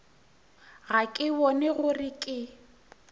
ga ke bone gore ke